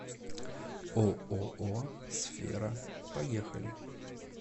ооо сфера поехали